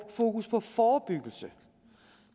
fokus på forebyggelse